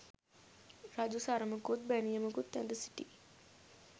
රජු සරමකුත් බැනියමකුත් ඇඳ සිටි